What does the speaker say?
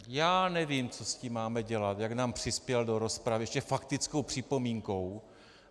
Já nevím, co s tím máme dělat, jak nám přispěl do rozpravy - ještě faktickou připomínkou.